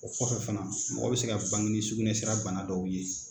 O kɔfɛ fana mɔgɔ bɛ se ka bange ni sugunɛsira bana dɔw ye.